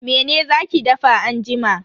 Mene za ki dafa anjima?